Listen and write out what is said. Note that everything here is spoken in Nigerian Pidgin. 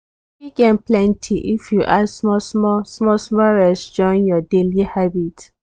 you fit gain plenty if you add small-small small-small rest join your daily habit.